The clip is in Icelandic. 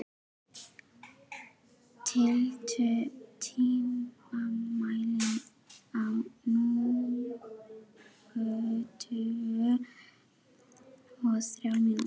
Elea, stilltu tímamælinn á níutíu og þrjár mínútur.